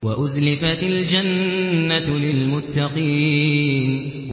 وَأُزْلِفَتِ الْجَنَّةُ لِلْمُتَّقِينَ